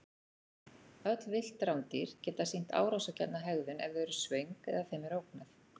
Öll villt rándýr geta sýnt árásargjarna hegðun ef þau eru svöng eða þeim er ógnað.